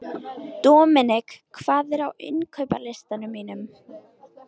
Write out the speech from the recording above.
Dominik, hvað er á innkaupalistanum mínum?